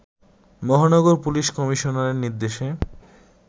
মহানগর পুলিশ কমিশনারের নির্দেশে